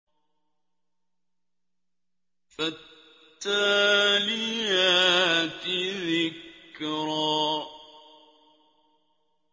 فَالتَّالِيَاتِ ذِكْرًا